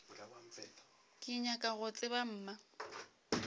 ke nyaka go tseba mma